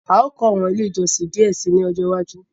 A o kọ awọn ile ìjọsìn díẹ síi ní ọjọ iwájú